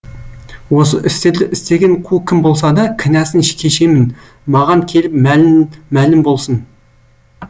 осы істерді істеген қу кім болса да кінәсын кешемін маған келіп мәлім болсын